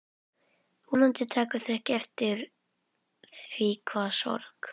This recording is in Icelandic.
Vonandi taka þau ekki eftir því hve sorg